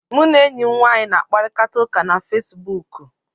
M na enyi m nwaanyị na-akparịta ụka na Fesibuku